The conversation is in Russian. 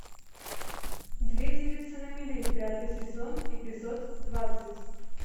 две девицы на мели пятый сезон эпизод двадцать